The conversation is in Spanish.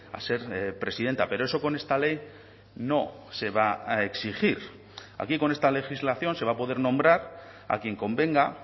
a ser presidenta pero eso con esta ley no se va a exigir aquí con esta legislación se va a poder nombrar a quien convenga